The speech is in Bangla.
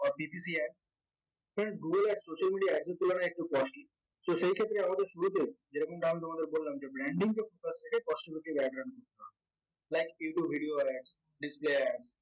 friends google ad social media ad এর তুলনায় একটু costly so সেই ক্ষেত্রে আমাদের শুরুতে যেরকমটা আমি তোমাদের বললাম যে branding